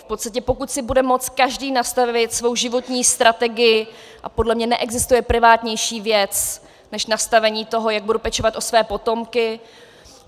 V podstatě pokud si bude moct každý nastavit svou životní strategii, a podle mě neexistuje privátnější věc než nastavení toho, jak budu pečovat o své potomky.